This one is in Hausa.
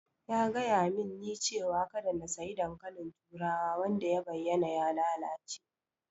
Ya gayamin ni cewa kada in sayi dankalin turawa wanda ya bayyana ya lalace.